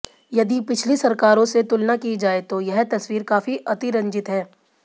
यदि पिछली सरकारों से तुलना की जाए तो यह तस्वीर काफी अतिरंजित है